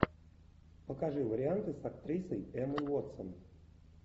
покажи варианты с актрисой эммой уотсон